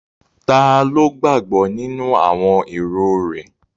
Taló gbàgbọ́ nínú àwọn èrò rẹ̀?